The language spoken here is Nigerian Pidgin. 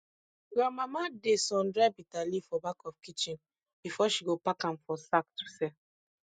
grandmama dey sun dry bitterleaf for back of kitchen before she go pack am for sack to sell